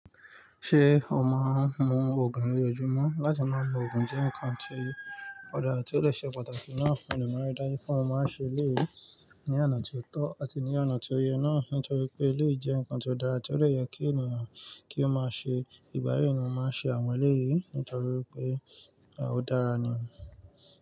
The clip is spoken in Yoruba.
Ṣé o máa ń mu òogùn ní ojoojúmọ́ láti máa mu òogùn jẹ nǹkan tí ó dára tí ó dé ṣe pàtàkì náà mo dé maa n rí dájú pé mo maa n ṣe eléyìí ní ọ̀nà tí ó tọ́ àti ní ọ̀nà tó yẹ náà nítorí pé eléyìí jẹ́ nǹkan tó dára tí ó dè yẹ kí ènìyàn kí ó máa ṣe ìgbà yì ni mo máa ń ṣe àwọn eléyìí nítorí wípé ó dára ni.